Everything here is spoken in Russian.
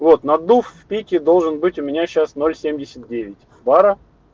вот наддув в пике должен быть у меня сейчас бора